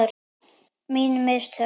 Mín mistök?